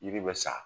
Yiri bɛ sa